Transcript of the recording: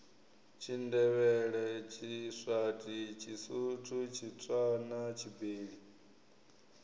tshindevhele tshiswati tshisuthu tshitswana tshibeli